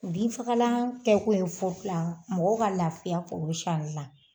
Binfagalan kɛ kun ye foro la mɔgɔ ka lafiya foro siyanli la